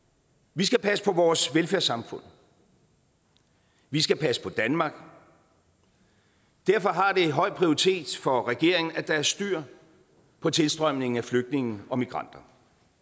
vi skal passe på vores velfærdssamfund vi skal passe på danmark derfor har det høj prioritet for regeringen at der er styr på tilstrømningen af flygtninge og migranter